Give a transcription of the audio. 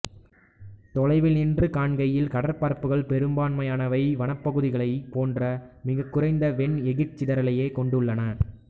தொலைவினின்று காண்கையில் கடற்பரப்புகள் பெரும்பான்மயான வனப்பகுதிகளைப் போன்றே மிகக்குறைந்த வெண் எகிர்சிதறலையே கொண்டுள்ளன